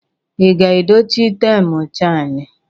Ị ga-edochi taim chaini?